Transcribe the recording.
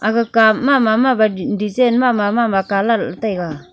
aga cup ma mama mama design mama mama colour le taiga .